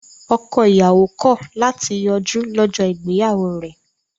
Ọkọ-ìyàwó kọ̀ láti yọjú lọ́jọ́ ìgbéyàwó rẹ̀.